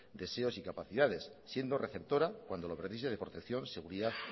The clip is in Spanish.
deseos y capacidades siendo receptora cuando lo precise de protección seguridad